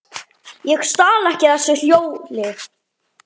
Ég stal ekki þessu hjóli!